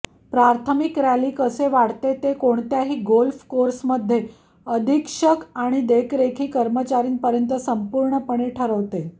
प्राथमिक रॅली कसे वाढते ते कोणत्याही गोल्फ कोर्समध्ये अधीक्षक आणि देखरेखी कर्मचारीांपर्यंत संपूर्णपणे ठरवते